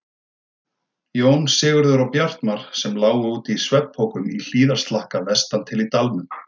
Jón, Sigurður og Bjartmar, sem lágu úti í svefnpokum í hlíðarslakka vestan til í dalnum.